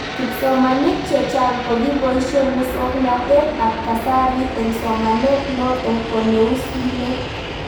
Kipsomanik chechang' ko kipoishe muswognatet ab kasari eng'somanet notok ko neu simet